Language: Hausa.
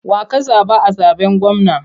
Wa ka zaɓa a zaɓen gwamna?